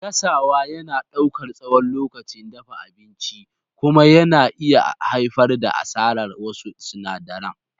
Gasawa yana ɗaukar tsawon lokacin dafa abinci kuma yana iya haifar da asarar wasu sinadaran.